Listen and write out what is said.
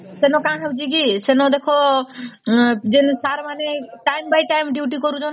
ସେଇନୁ କା ହଉଚି କି ସେଇନୁ ଦେଖ ଯେମିତି sir ମାନେ ଟାଇମ ବଟାଇମ duty କରୁସନ